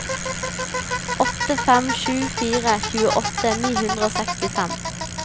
åtte fem sju fire tjueåtte ni hundre og sekstifem